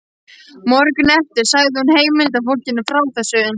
Morguninn eftir sagði hún heimilisfólkinu frá þessu.